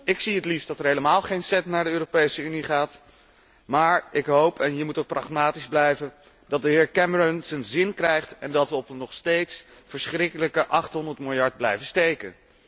Ik zie het liefst dat er helemaal geen cent naar de Europese Unie gaat, maar ik hoop en je moet ook pragmatisch blijven dat de heer Cameron zijn zin krijgt en dat we op een nog steeds verschrikkelijke 800 miljard blijven steken.